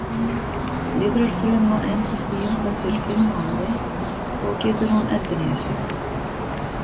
Lifrarfruma endist í um það bil fimm mánuði og getur hún endurnýjað sig.